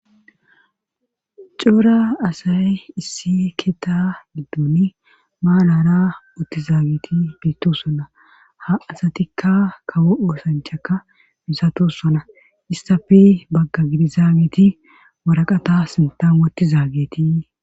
Coora asay issi keta giddon maalara moottizaagiti biittossona ha asatikka kawo oosanchaka misatossona istappi bagga gidizaagiti maraqata sintam wotti zaagetii